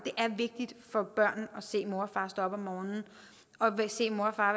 det er for børn at se mor og far stå op om morgenen og se mor og far